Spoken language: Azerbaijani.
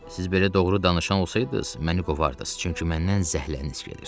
Siz belə doğru danışan olsaydınız, məni qovardınız, çünki məndən zəhləniz gedir.